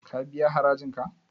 Ka biya harajin ka?